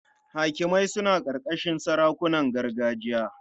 Hakimai suna ƙarƙashin sarakunan gargajiya.